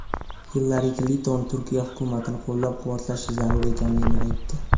Hillari Klinton Turkiya hukumatini qo‘llab-quvvatlash zarur ekanini aytdi.